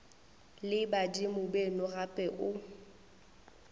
le badimo beno gape o